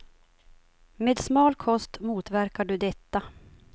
Med smal kost motverkar du detta.